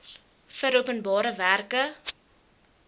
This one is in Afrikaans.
vir openbare werke